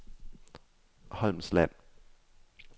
Holmsland